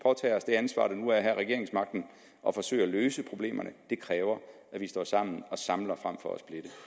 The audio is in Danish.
ansvar det nu er at have regeringsmagten og forsøge at løse problemerne det kræver at vi står sammen og samler frem for